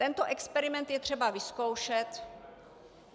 Tento experiment je třeba vyzkoušet.